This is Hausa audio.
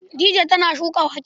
Dija tana shuka wake.